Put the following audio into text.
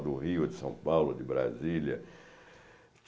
A do Rio, a de São Paulo, a de Brasília.